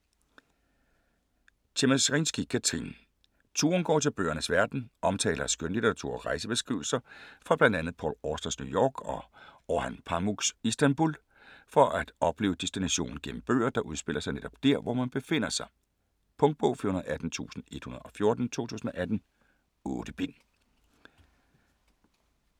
Tschemerinsky, Kathrine: Turen går til bøgernes verden Omtaler af skønlitteratur og rejsebeskrivelser fra bl.a Paul Austers New York og Orhan Pamuks Istanbul, for at opleve destinationen gennem bøger, der udspiller sig netop dér, hvor man befinder sig. Punktbog 418114 2018. 8 bind.